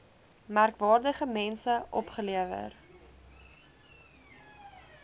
merkwaardige mense opgelewer